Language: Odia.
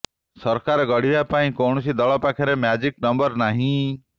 ସରକାର ଗଢିବା ପାଇଁ କୌଣସି ଦଳ ପାଖରେ ମ୍ୟାଜିକ ନମ୍ବର ନାହିଁ